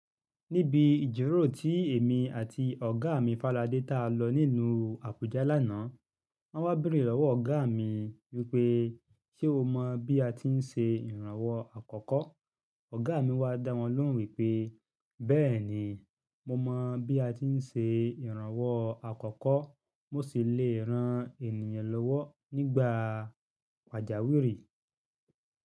Níbi ijíròró tí èmi àti ọ̀gá mi Faladé ta lọ n'ílú Àbújá lánàá. Wọ́n wá bèrè lọ́wọ́ ọ̀gá mi wípé, "ṣé o mọ bí a ti ń ṣe ìrànwọ́ àkọ́kọ́?" Ọ̀gá mi wá dá wọn lóhùn wípé, "bẹ́ẹ̀ni, mo mọ bí a ti ń ṣe ìrànwọ́ àkọ́kọ́, mo sì le rán ènìyàn lọ́wọ́ nígbà pàjáwìrì."